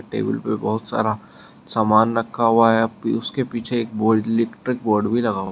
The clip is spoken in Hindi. टेबल पर बहुत सारा सामान रखा हुआ है उसके पीछे इलेक्ट्रिक बोर्ड भी लगा--